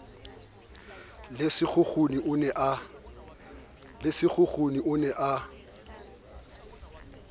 le sekgukhuni o ne a